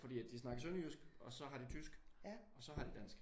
Fordi at de snakker sønderjysk og så har de tysk og så har de dansk